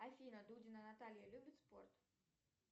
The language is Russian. афина дудина наталья любит спорт